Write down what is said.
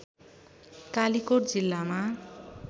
कालिकोट जिल्लामा